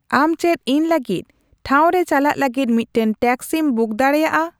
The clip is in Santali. ᱟᱢ ᱪᱮᱫ ᱤᱧ ᱞᱟᱹᱜᱤᱫ ᱴᱷᱟᱶ ᱨᱮ ᱪᱟᱞᱟᱜ ᱞᱟᱹᱜᱤᱫ ᱢᱤᱫᱴᱟᱝ ᱴᱮᱠᱥᱤᱢ ᱵᱩᱠ ᱫᱟᱲᱮᱭᱟᱜᱼᱟ